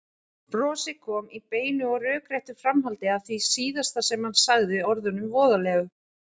Brosið kom í beinu og rökréttu framhaldi af því síðasta sem hann sagði, orðunum voðalegu.